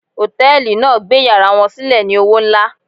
Hòtẹ́ẹ̀lì náà gbé yàrá wọn sílẹ̀ ní owó nlá.